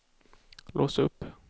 lås upp